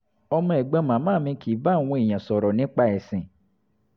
ọmọ ẹ̀gbọ́n màmá mi kì í bá àwọn èèyàn sọ̀rọ̀ nípa ẹ̀sìn